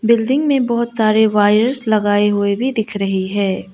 Building में बहोत सारे वायरस लगाए हुए भी दिख रही है।